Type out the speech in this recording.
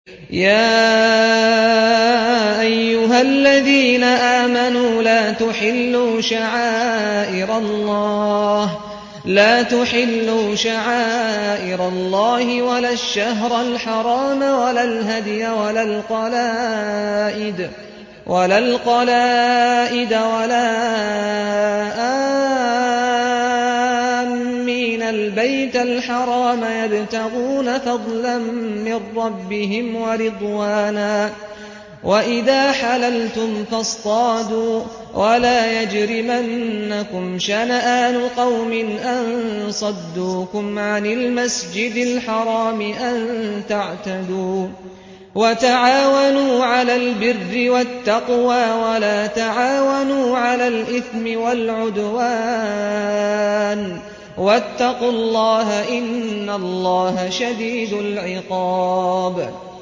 يَا أَيُّهَا الَّذِينَ آمَنُوا لَا تُحِلُّوا شَعَائِرَ اللَّهِ وَلَا الشَّهْرَ الْحَرَامَ وَلَا الْهَدْيَ وَلَا الْقَلَائِدَ وَلَا آمِّينَ الْبَيْتَ الْحَرَامَ يَبْتَغُونَ فَضْلًا مِّن رَّبِّهِمْ وَرِضْوَانًا ۚ وَإِذَا حَلَلْتُمْ فَاصْطَادُوا ۚ وَلَا يَجْرِمَنَّكُمْ شَنَآنُ قَوْمٍ أَن صَدُّوكُمْ عَنِ الْمَسْجِدِ الْحَرَامِ أَن تَعْتَدُوا ۘ وَتَعَاوَنُوا عَلَى الْبِرِّ وَالتَّقْوَىٰ ۖ وَلَا تَعَاوَنُوا عَلَى الْإِثْمِ وَالْعُدْوَانِ ۚ وَاتَّقُوا اللَّهَ ۖ إِنَّ اللَّهَ شَدِيدُ الْعِقَابِ